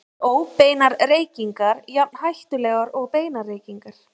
Eru óbeinar reykingar jafn hættulegar og beinar reykingar?